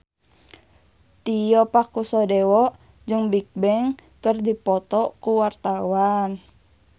Tio Pakusadewo jeung Bigbang keur dipoto ku wartawan